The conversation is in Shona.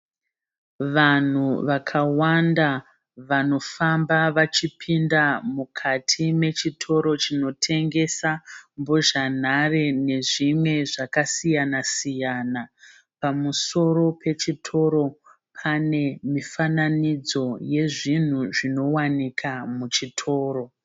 Vanhu vakawanda vanofamba vachipinda mukati mechitoro chinotengesa mbozhanhare nezvimwe zvakasiyana siyana. Pamusoro pechitoro pane mifananidzo yezvinhu zvinowanika muchitoro.